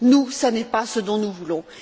Nous, ce n'est pas ce dont nous voulons.